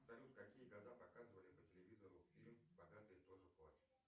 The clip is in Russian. салют в какие года показывали по телевизору фильм богатые тоже плачут